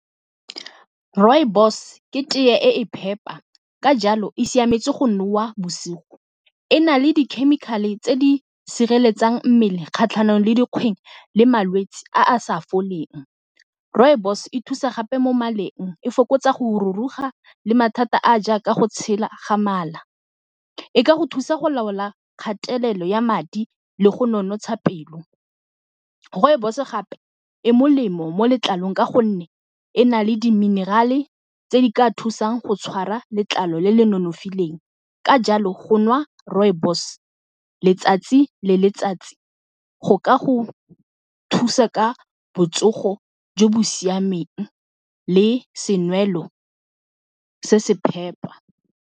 Rooibos ke teye e e phepa ka jalo e siametse go nowa bosigo, e na le di-chemical-e tse di sireletsang mmele kgatlhanong le le malwetsi a a sa foleng rooibos e thusa gape mo maleng e fokotsa go ruruga le mathata a a jaaka go tshela ga mala, e ka go thusa go laola kgatelelo ya madi le go nonotsha pelo. Rooibos gape e molemo mo letlalong ka gonne e na le diminerale tse di ka thusang go tshwara letlalo le le nonofileng, ka jalo go nwa rooibos letsatsi le letsatsi go ka go thusa ka botsogo jo bo siameng le senwelo se se phepa.